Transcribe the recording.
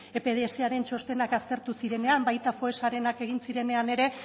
ez epdsaren txostenak aztertu zirenean baita foessarenak egin zirenean ere